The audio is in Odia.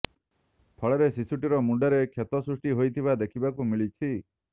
ଫଳରେ ଶିଶଟିର ମୁଣ୍ଡରେ କ୍ଷତ ସୃଷ୍ଟି ହୋଇଥିବା ଦେଖିବାକୁ ମିଳିଛି